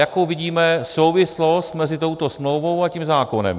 Jakou vidíme souvislost mezi touto smlouvou a tím zákonem?